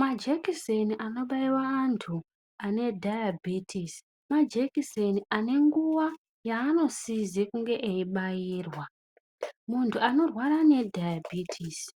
Majekiseni anobaiwe antu ane dhayebhitisi majekiseni ane nguwa yaanosize kunge eyibairwa. Munhu anorwara nedhayabhitisi